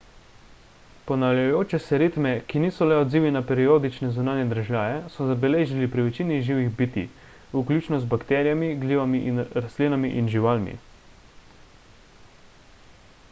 ponavljajoče se ritme ki niso le odzivi na periodične zunanje dražljaje so zabeležili pri večini živih bitij vključno z bakterijami glivami rastlinami in živalmi